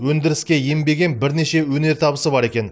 өндіріске енбеген бірнеше өнертабысы бар екен